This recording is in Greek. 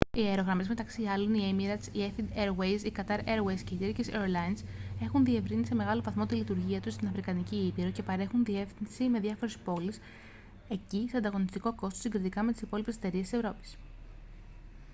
οι αερογραμμές μεταξύ άλλων η emirates η etihad airways η qatar airways και η turkish airlines έχουν διευρύνει σε μεγάλο βαθμό τη λειτουργία τους στην αφρικανική ήπειρο και παρέχουν διασύνδεση με διάφορες πόλεις εκεί σε ανταγωνιστικό κόστος συγκριτικά με τις υπόλοιπες εταιρείες της ευρώπης